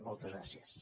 moltes gràcies